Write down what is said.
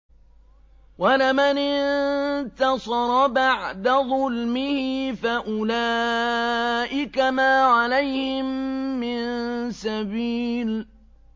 وَلَمَنِ انتَصَرَ بَعْدَ ظُلْمِهِ فَأُولَٰئِكَ مَا عَلَيْهِم مِّن سَبِيلٍ